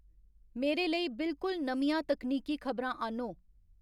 मेरे लेई बिलकुल नमियां तकनीकी खबरां आह्न्नो